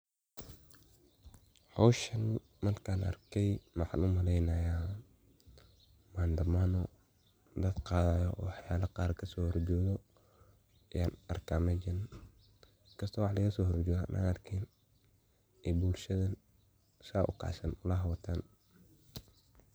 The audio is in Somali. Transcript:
howshan markan arkay maxan umaleeynaya maandamano dad qaadayo wax yala qar kasoo hor jeedo yan arka mejan inkaasto wixi lagaso hor jeedin an arkeynin ee bulshadan saa ukacsan ulaha wataan